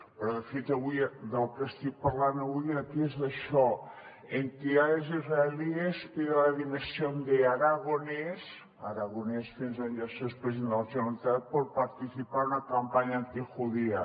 però de fet del que estic parlant avui aquí és d’això entidades israelíes piden la dimisión de aragonès aragonès fins on jo sé és president de la generalitat por participar en una campaña antijudía